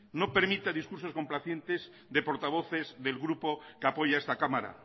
no permita discursos complacientes de portavoces del grupo que apoya a esta cámara